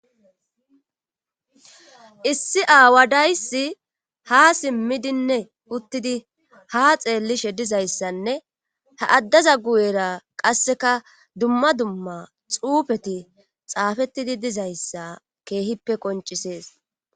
Issi aawa dayssi ha simmidinne uttidi ha xeellishe dizayssanne ha addaza guyera qasseka dumma dumma xuufeti xaafettidi dizayssa keehippe qoncisees.